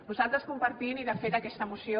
nosaltres compartim i de fet aquesta moció